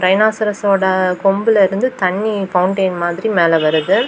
Dinosaurs ஓட கொம்புல இருந்து தண்ணி பவுண்டைன் மாதிரி மேல வருது.